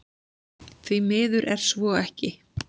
Því miður er svo ekki